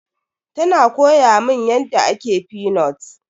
Tana koya mun yadda ake fenut.